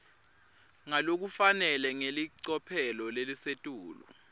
ngalokufanele ngelicophelo lelisetulu